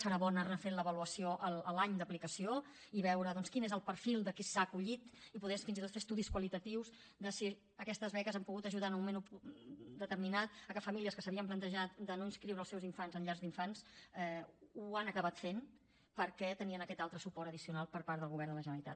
serà bo anar refent l’avaluació al cap de l’any d’aplicació i veure doncs quin és el perfil de qui s’hi ha acollit i poder fins i tot fer estudis qualitatius de si aquestes beques han pogut ajudar en un moment determinat que famílies que s’havien plantejat de no inscriure els seus infants en llars d’infants ho hagin acabat fent perquè tenen aquest altre suport addicional per part del govern de la generalitat